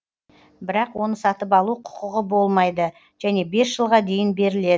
бірақ оны сатып алу құқығы болмайды және бес жылға дейін беріледі